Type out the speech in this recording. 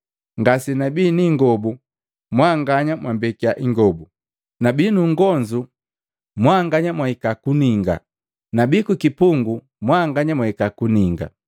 ngase nabii niingobu mwanganya mwambekiya ingobu, nabii nungonzu mwanganya mwahika kuninga, nabii kukipungu mwanganya mwahika kuninga.’